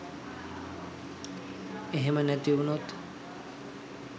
එහෙම නැති වුනොත්